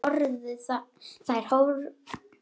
Þær horfðu þangað allar.